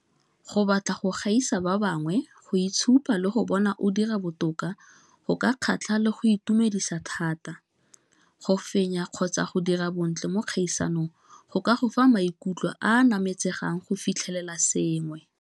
Go batla go gaisa ba bangwe, go itshupa le go bona o dira botoka go ka kgatlha le go itumedisa thata, go fenya kgotsa go dira bontle mo dikgaisanong go ka go fa maikutlo a nametsegang go fitlhelela sengwe.